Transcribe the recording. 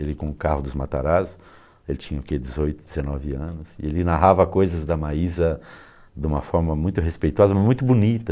Ele com o carro dos Matarazzo, ele tinha dezoito, dezenove anos, e ele narrava coisas da Maísa de uma forma muito respeitosa, mas muito bonita.